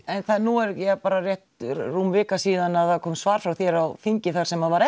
en ja nú er bara rétt rúm vika síðan það kom svar frá þér á þingi þar sem var